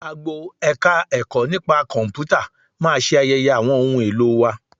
Agbo Ẹ̀ka-ẹ̀kọ́ nipa Kọ̀m̀pútà máa ṣe ayẹyẹ àwọn ohun èlò wa